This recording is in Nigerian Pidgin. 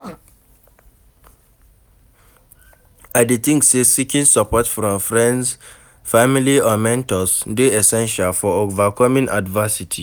I dey think say seeking support from friends, family or mentors dey essential for overcoming adversity.